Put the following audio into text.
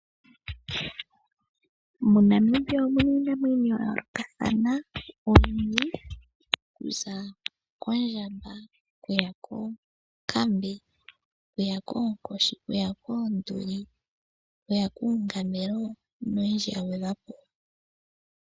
MoNamibia omu na ii amwenyo ya yoolokathana oyindji. Okuza koondjamba, okuya koonkambe, oonkoshi, oonduli, uungamelo noyindji ya gwedhwa po.